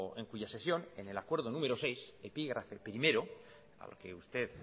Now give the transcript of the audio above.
en cuya sesión en el acuerdo número seis epígrafe primero a la que usted